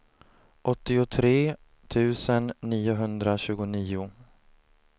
åttiotre tusen niohundratjugonio